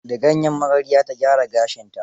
Da gayyen magarya ta gyara gashinta.